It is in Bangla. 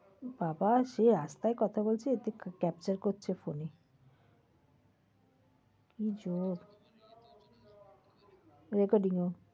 বাবা সে রাস্তায় কথা বলছে capture করছে phone এ। কি job । recording ও।